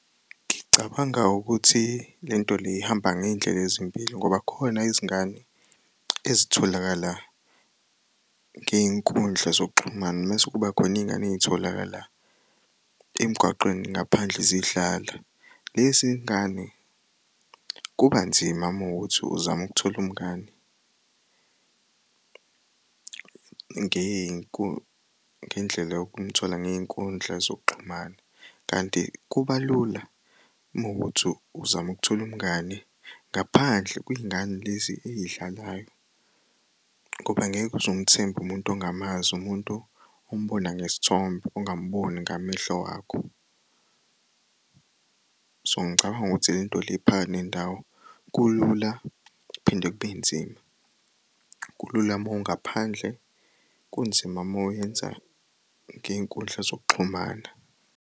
Ngicabanga ukuthi lento le ihamba ngey'ndlela ezimbili ngoba kukhona izingane ezitholakala ngey'nkundla zokuxhumana mese kuba khon'iy'ngane ey'tholakala emgwaqweni ngaphandle zidlala. Lezi ngane kubanzima mawukuthi uzam'ukuthola umngani ngendlela yokumthola ngey'nkundla zokuxhumana kanti kuba lula mawukuthi uzam'ukuthol'umngani ngaphandle kwingane lezi eyidlalayo ngoba angeke uzumthemb'umuntu ongamazi umuntu umbona ngesithombe ongam'boni ngamehlo wakho. So ngicabang'ukuthi lento le iphakathi nendawo kulula kuphinde kube nzima. Kulula mawungaphandle kunzima mawuyenza ngey'nkundla zokuxhumana.